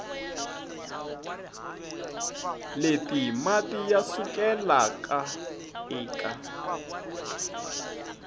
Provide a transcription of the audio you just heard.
leti mati ya sukelaka eka